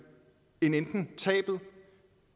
end enten et tab